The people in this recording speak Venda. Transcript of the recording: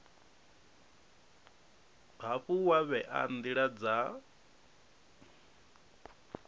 hafhu wa vhea ndila dza